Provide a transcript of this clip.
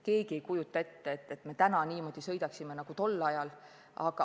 Keegi ei kujuta ette, et me tänapäeval niimoodi sõidaksime nagu tol ajal.